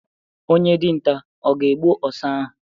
Onye dinta ọ ga-egbu ọsa ahụ?